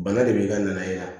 Bana de b'i ka na e la